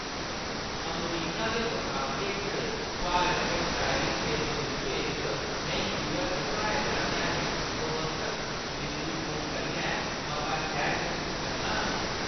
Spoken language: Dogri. अमरीका दे मुकाबले च भारत च ड्राइविंग दे तजुर्बे च, में यूऐस्स च पढ़ाए जाने आह्‌ले व्यवस्थत द्रिश्टीकोण कन्नै मता सैह्‌ज मसूस करनां।